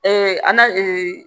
an ga